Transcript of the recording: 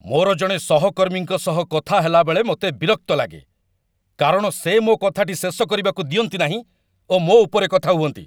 ମୋର ଜଣେ ସହକର୍ମୀଙ୍କ ସହ କଥା ହେଲାବେଳେ ମୋତେ ବିରକ୍ତ ଲାଗେ, କାରଣ ସେ ମୋ କଥାଟି ଶେଷ କରିବାକୁ ଦିଅନ୍ତି ନାହିଁ ଓ ମୋ ଉପରେ କଥା ହୁଅନ୍ତି।